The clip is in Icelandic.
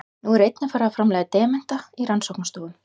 Nú er einnig farið að framleiða demanta í rannsóknastofum.